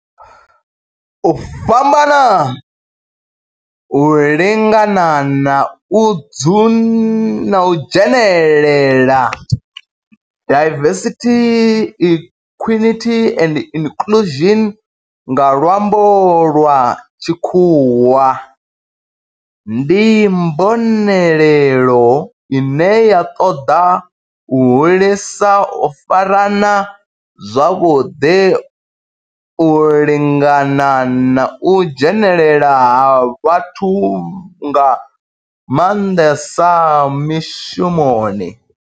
U fhambana, u lingana na u dzhenelela diversity, equity and inclusion nga lwambo lwa tshikhuwa ndi mbonelelo ine ya ṱoḓa u hulisa u farana zwavhudi, u lingana na u dzhenelela ha vhathu nga manḓesa mishumoni.